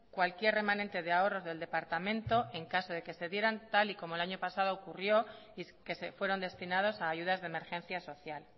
cualquier remanente de ahorros del departamento en caso de que se dieran tal y como el año pasado ocurrió y que fueron destinados a ayudas de emergencia social